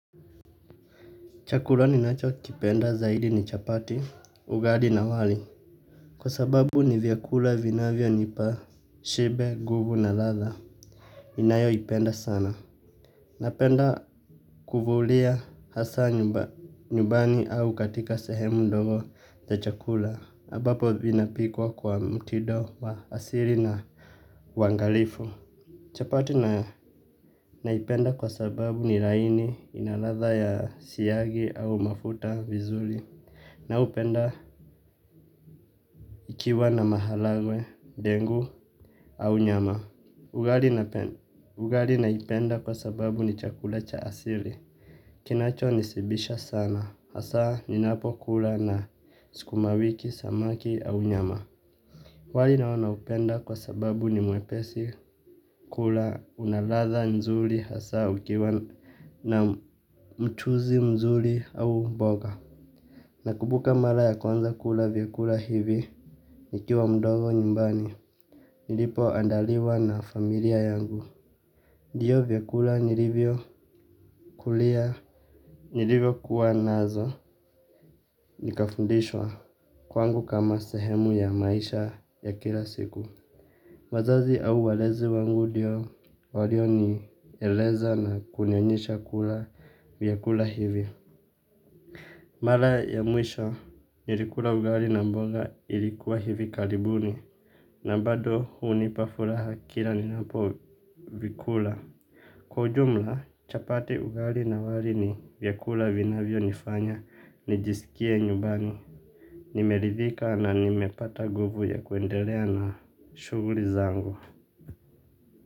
Chakula ninachokipenda zaidi ni chapati, ugali na wali kwa sababu ni vyakula vinavyonipa shibe, nguvu na ladha ninayoipenda sana. Napenda kuvulia hasa nyumbani au katika sehemu ndogo za chakula ambapo vinapikwa kwa mtido wa asili na uangalifu. Chapati naipenda kwa sababu ni laini inaladha ya siagi au mafuta vizuri na hupenda ikiwa na maharagwe, dengu au nyama. Ugali naipenda kwa sababu ni chakula cha asili. Kinacho nishibisha sana hasa ninapokula na sukumawiki, samaki au nyama. Wali nao naupenda kwa sababu ni mwepesi kula unaladha nzuri hasa ukiwa na mchuzi mzuri au mboga. Nakumbuka mara ya kwanza kula vyakula hivi nikiwa mdogo nyumbani. Nilipoandaliwa na familia yangu. Ndiyo vyakula nilivyokulia nilivyo kuwa nazo nikafundishwa kwangu kama sehemu ya maisha ya kila siku. Wazazi au walezi wangu ndiyo walionieleza na kunionyesha kula vyakula hivi. Mara ya mwisho, nilikula ugali na mboga ilikuwa hivi karibuni na bado hunipa furaha kila ninapo vikula. Kwa ujumla, chapati ugali na wali ni vyakula vinavyonifanya, nijisikie nyumbani. Nimeridhika na nimepata nguvu ya kuendelea na shughuli zangu.